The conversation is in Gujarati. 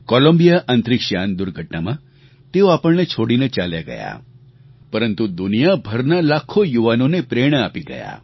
કૉલંબિયા અંતરીક્ષ યાન દુર્ઘટનામાં તેઓ આપણને છોડીને ચાલ્યાં ગયાં પરંતુ દુનિયાભરના લાખો યુવાનોને પ્રેરણા આપી ગયા